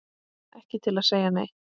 Ekki til að segja neitt.